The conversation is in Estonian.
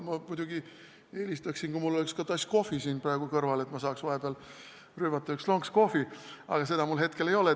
Ma muidugi eelistaksin, et mul oleks ka tass kohvi praegu siin kõrval, et saaksin vahepeal ühe lonksu rüübata, aga seda mul hetkel ei ole.